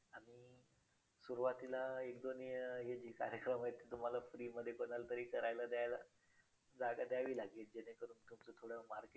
कधीतरी साक्षीला पण घेऊन जाईल त्यांची इच्छा आहे.